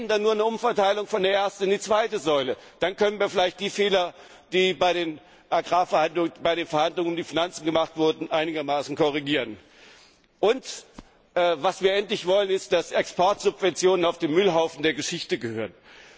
Wenn, dann nur eine Umverteilung von der ersten in die zweite Säule, dann können wir vielleicht die Fehler, die bei den Verhandlungen um die Finanzen gemacht wurden, einigermaßen korrigieren. Und was wir endlich wollen, ist, dass Exportsubventionen auf den Müllhaufen der Geschichte gehören.